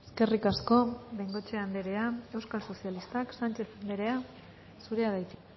eskerrik asko de bengoechea andrea euskal sozialistak sánchez andrea zurea da hitza